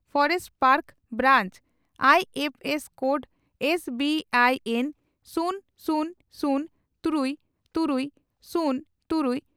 forest park branch I F S code S B I N ᱥᱩᱱ ᱥᱩᱱ ᱥᱩᱱ ᱛᱨᱩᱭ ᱛᱩᱨᱩᱭ ᱥᱩᱱ ᱛᱩᱨᱩᱭ